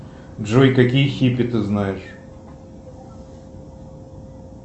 джой какие хиппи ты знаешь